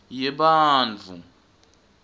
yebantfu